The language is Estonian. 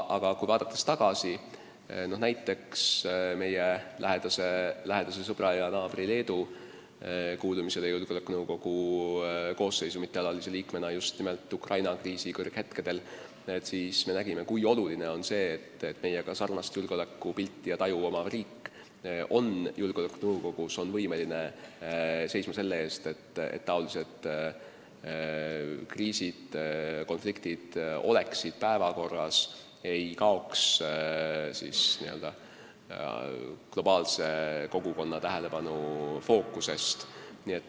Aga vaadates tagasi meie lähedase sõbra ja naabri Leedu kuulumisele julgeolekunõukogu koosseisu mittealalise liikmena just nimelt Ukraina kriisi kõrghetkedel, me näeme, kui oluline on see, et meiega sarnast julgeolekupilti ja -taju omav riik on julgeolekunõukogus, on võimeline seisma selle eest, et niisugused kriisid, konfliktid oleksid päevakorral, ei kaoks n-ö globaalse kogukonna tähelepanu fookusest.